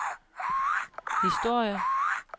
historier